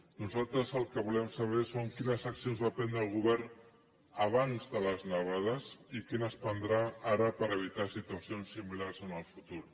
nosaltres el que volem saber és quines accions va prendre el govern abans de les nevades i quines prendrà ara per evitar situacions similars en el futur